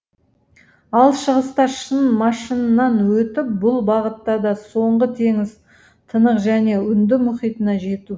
ал шығыста шын машыннан өтіп бұл бағытта да соңғы теңіз тынық және үнді мұхитына жету